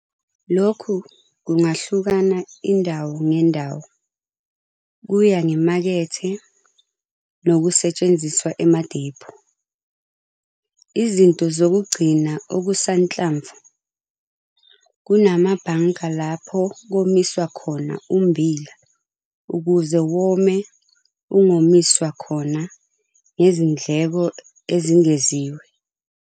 Lokhu kungahlukana indawo ngendawo kuya ngemakethe nokusetshenziswa emadepho. Izinto zokugcina okusanhlamvu kunamabhanka lapho komiswa khona ummbila ukuze wome ungomiswa khona ngezindleko ezingeziwe.